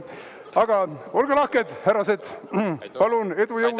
Aga olge lahked, härrased, palun!